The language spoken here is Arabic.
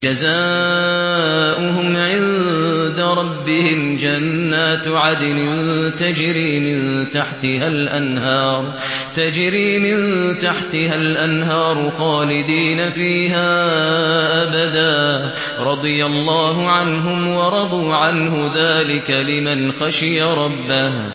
جَزَاؤُهُمْ عِندَ رَبِّهِمْ جَنَّاتُ عَدْنٍ تَجْرِي مِن تَحْتِهَا الْأَنْهَارُ خَالِدِينَ فِيهَا أَبَدًا ۖ رَّضِيَ اللَّهُ عَنْهُمْ وَرَضُوا عَنْهُ ۚ ذَٰلِكَ لِمَنْ خَشِيَ رَبَّهُ